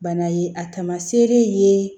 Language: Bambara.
Bana ye a tamaseere ye